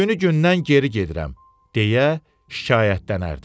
Günü gündən geri gedirəm, deyə şikayətlənərdi.